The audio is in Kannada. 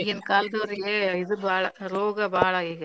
ಈಗಿನ ಕಾಲದೋರಿಗೆ ಇದು ಬಾಳ್ ರೋಗ ಬಾಳ್ ಈಗ.